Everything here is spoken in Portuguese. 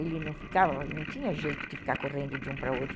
Ele não tinha jeito de ficar correndo de um para o outro.